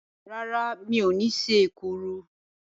Rárá, mi ò ní ṣe èkuru.